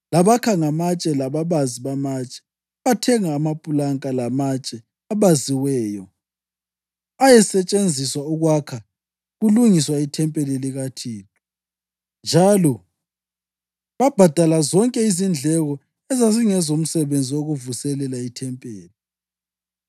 labakha ngamatshe lababazi bamatshe. Bathenga amapulanka lamatshe abaziweyo ayesetshenziswa ukwakha kulungiswa ithempeli likaThixo, njalo babhadala zonke izindleko ezazingezomsebenzi wokuvuselela ithempeli.